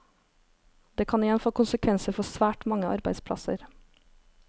Det kan igjen få konsekvenser for svært mange arbeidsplasser.